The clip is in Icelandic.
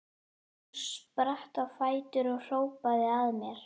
Hún spratt á fætur og hrópaði að mér: